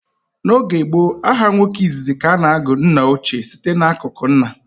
N' oge gboo, aha nwoke izizi ka a na-agụ nnaochie site n'akụkụ nna.